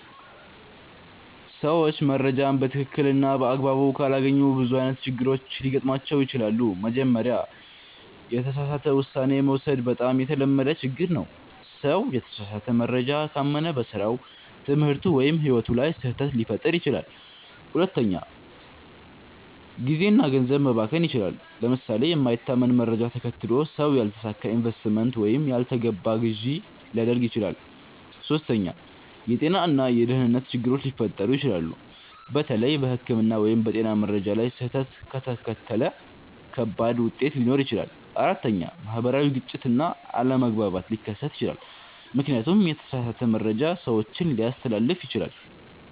ሰዎች መረጃን በትክክል እና በአግባቡ ካላገኙ ብዙ አይነት ችግሮች ሊገጥሟቸው ይችላሉ። መጀመሪያ፣ የተሳሳተ ውሳኔ መውሰድ በጣም የተለመደ ችግር ነው። ሰው የተሳሳተ መረጃ ካመነ በስራው፣ ትምህርቱ ወይም ሕይወቱ ላይ ስህተት ሊፈጥር ይችላል። ሁለተኛ፣ ጊዜ እና ገንዘብ መባከን ይችላል። ለምሳሌ የማይታመን መረጃ ተከትሎ ሰው ያልተሳካ ኢንቨስትመንት ወይም ያልተገባ ግዢ ሊያደርግ ይችላል። ሶስተኛ፣ የጤና እና የደህንነት ችግሮች ሊፈጠሩ ይችላሉ። በተለይ በሕክምና ወይም በጤና መረጃ ላይ ስህተት ከተከተለ ከባድ ውጤት ሊኖር ይችላል። አራተኛ፣ ማህበራዊ ግጭት እና አለመግባባት ሊከሰት ይችላል፣ ምክንያቱም የተሳሳተ መረጃ ሰዎችን ሊያስተላልፍ ይችላል።